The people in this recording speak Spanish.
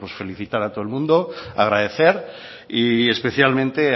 felicitar a todo el mundo agradecer y especialmente